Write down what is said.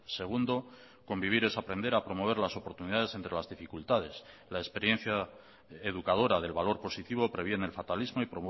segundo convivir es aprender a promover las oportunidades entre las dificultades la experiencia educadora del valor positivo previene el fatalismo y